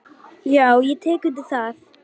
Já, ég tek undir það.